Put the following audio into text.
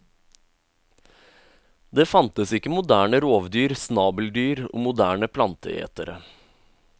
Det fantes ikke moderne rovdyr, snabeldyr og moderne planteetere.